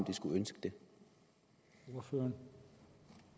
de skulle ønske det